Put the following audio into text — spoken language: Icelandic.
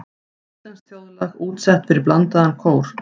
Íslenskt þjóðlag útsett fyrir blandaðan kór.